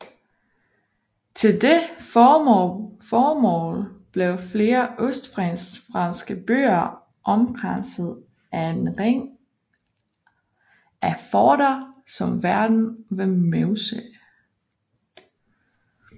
Til det formål blev flere østfranske byer omkranset af en ring af forter som Verdun ved Meuse